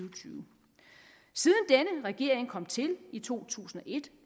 og tyve siden denne regering kom til i to tusind og et